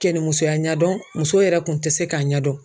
Cɛnimusoya ɲɛdɔn muso yɛrɛ kun tɛ se k'a ɲɛdɔn.